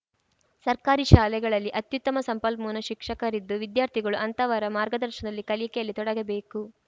ಸರ್ಕಾರಿ ಶಾಲೆಗಳಲ್ಲಿ ಅತ್ಯುತ್ತಮ ಸಂಪನ್ಮೂಲ ಶಿಕ್ಷಕರಿದ್ದು ವಿದ್ಯಾರ್ಥಿಗಳು ಅಂತಹವರ ಮಾರ್ಗದರ್ಶನದಲ್ಲಿ ಕಲಿಕೆಯಲ್ಲಿ ತೊಡಗಬೇಕು